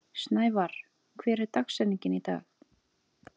Snævarr, hver er dagsetningin í dag?